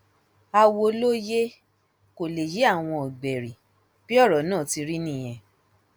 àwọ ló yẹ kó lè yé àwọn ọgbẹrì bí ọrọ náà ti rí nìyẹn